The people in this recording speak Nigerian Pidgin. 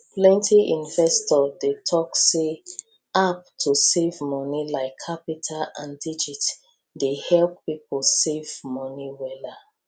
plenty investor dey talk say app to save moni like qapital and digit dey help pipo save moni wella